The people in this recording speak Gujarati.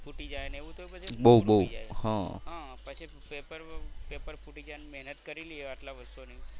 ફૂટી જાય ને એવું. હા પછી પેપર પેપર ફૂટી જાય ને મહેનત કરેલી હોય આટલા વર્ષો ની